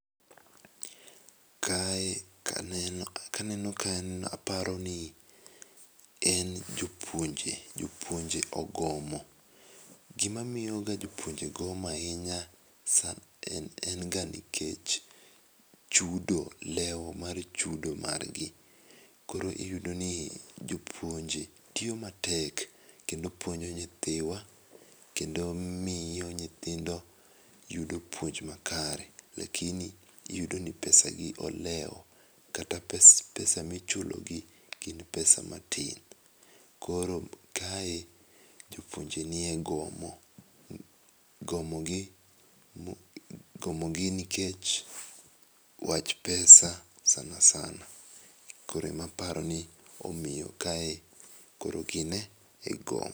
Kae ka aneno, ka aneno kae a paro ni en jopuonje, jopuonje ogomo, gi ma miyo ga jopuonje gomo ahinya en ga nikech chudo, leo mar chudo mar gi. Koro iyudo ni jopuonje tiyo matek kendo puonjo nyithiwa kendo miyo nyithindo yudo puonj ma kare lakini iyudo ni pesa gi olewo kata pesa mi ichulo gi en pesa matin. koro kae jopuonje ni e gomo. Gomo gi, gomo gi nikech wach pesa sanasana .Koro e ma aparo ni omiyo kae koro gin e gomo.